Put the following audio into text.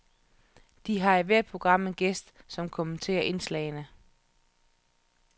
De har i hvert program en gæst, som kommenterer indslagene.